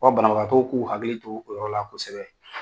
Fɔ banabagatɔw k'u hakili t'o yɔrɔ la kosɛbɛ.